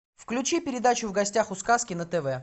включи передачу в гостях у сказки на тв